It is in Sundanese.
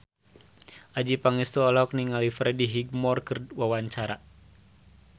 Adjie Pangestu olohok ningali Freddie Highmore keur diwawancara